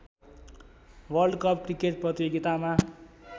world cup cricket प्रतियोगितामा